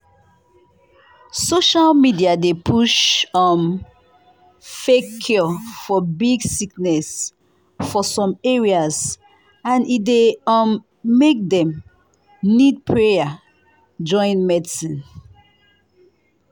social media dey push um fake cure for big sickness for some areas and e dey um make dem need prayer join medicine.